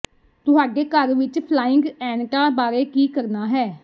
ਤੁਹਾਡੇ ਘਰ ਵਿੱਚ ਫਲਾਇੰਗ ਐਨਟਾਂ ਬਾਰੇ ਕੀ ਕਰਨਾ ਹੈ